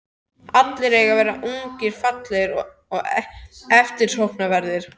Allir eiga að vera ungir, fallegir og eftirsóknarverðir.